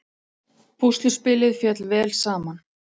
Púsluspilið féll vel saman